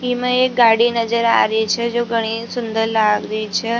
इमा एक गाड़ी नजर आ रही छ जो घणी सुन्दर लाग रही छ।